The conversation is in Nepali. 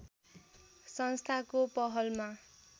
संस्थाको पहलमा